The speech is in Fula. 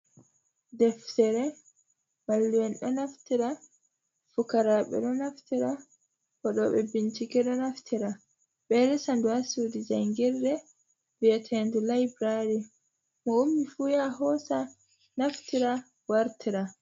Deftere mallu’en ɗo naftira, fukaraɓe ɗo naftira, waɗo ɓe bincike ɗo naftira, ɓe ɗo resa ɗum ha suɗi jangirre viatende laibrary, mo ummi fu ya hosa naftira wartira.